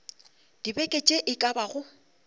dibeke tše e ka bago